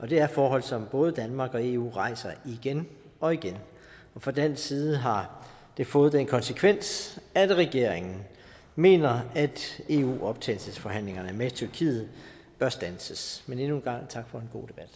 det er forhold som både danmark og eu rejser igen og igen og fra dansk side har det fået den konsekvens at regeringen mener at eu optagelsesforhandlingerne med tyrkiet bør standses men endnu en gang tak for